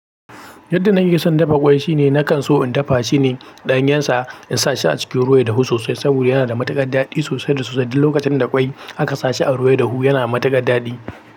Yadda na ke son dafa ƙwai, shine nakan so in dafa shi ne ɗanyensa in sa shi a cikin ruwan dahu sosai saboda yana da matuƙar daɗi sosai da sosai. Lokacin da ƙwai aka sa shi a ruwa ya dahu yana matuƙar daɗi.